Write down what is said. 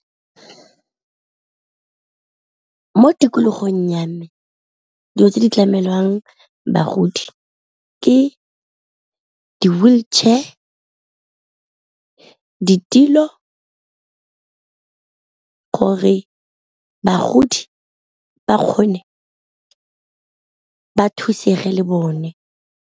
Mo tikologong ya me dilo tse di tlamelwang bagodi ke di-wheelchair ditilo, gore bagodi ba kgone ba thusege le bone.